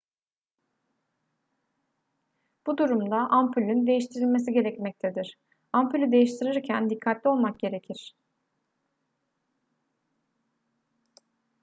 bu durumda ampulün değiştirilmesi gerekmektedir ampulü değiştirirken dikkatli olmak gerekir